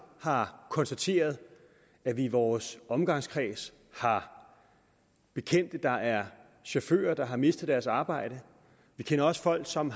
har konstateret at vi i vores omgangskreds har bekendte der er chauffører der har mistet deres arbejde vi kender også folk som